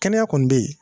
Kɛnɛya kɔni bɛ yen